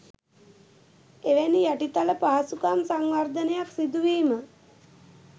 එවැනි යටිතල පහසුකම් සංවර්ධනයක් සිදුවීම